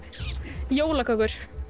jólakökur